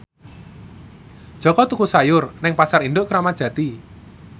Jaka tuku sayur nang Pasar Induk Kramat Jati